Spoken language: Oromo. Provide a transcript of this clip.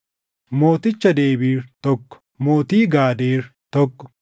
mooticha Debiir, tokko mootii Gaadeer, tokko